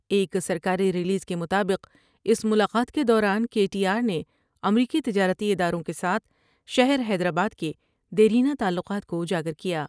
ایک سرکاری ریلیز کے مطابق اس ملاقات کے دوران کے ٹی آر نے امریکی تجارتی اداروں کے ساتھ شہر حیدرآباد کے دیرینہ تعلقات کو اجاگر کیا ۔